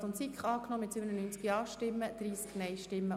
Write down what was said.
Regierungsrat/SiK gegen Eventualantrag SP-JUSO-PSA [Wüthrich, Huttwil])